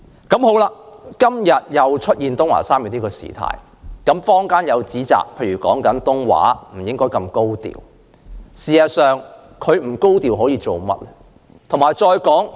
今天發生東華三院李東海小學事件後，坊間指責該校不應太高調處理，但該校可以做甚麼？